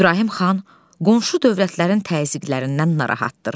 İbrahim xan qonşu dövlətlərin təzyiqlərindən narahatdır.